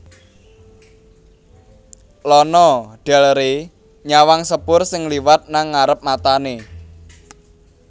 Lana Del Rey nyawang sepur sing liwat nang ngarep matane